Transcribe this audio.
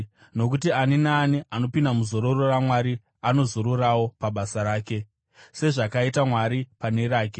nokuti ani naani anopinda muzororo raMwari anozororawo pabasa rake, sezvakaita Mwari pane rake.